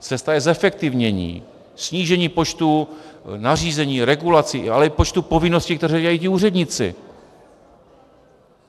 Cesta je zefektivnění, snížení počtu nařízení, regulací, ale i počtu povinností, které dělají ti úředníci.